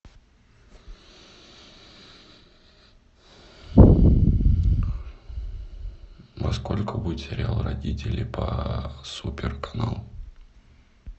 во сколько будет сериал родители по супер каналу